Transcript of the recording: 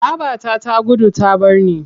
Babata ta gudu ta bar ni.